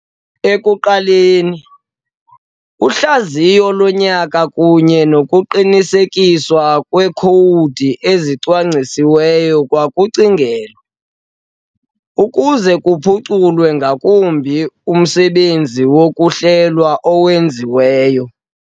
Ekuqaleni, uhlaziyo lonyaka kunye nokuqinisekiswa kweekhowudi ezicwangcisiweyo kwakucingelwa, ukuze kuphuculwe ngakumbi umsebenzi wokuhlelwa owenziweyo.